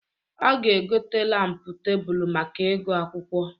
Ọ ga-egota lampụ tebulu maka ịgụ akwụkwọ.